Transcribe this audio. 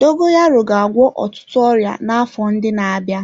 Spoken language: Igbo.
Dogoyaro ga-agwọ ọtụtụ ọrịa n'afọ ndị na-abịa.